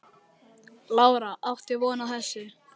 Lára: Áttir þú von á þessu?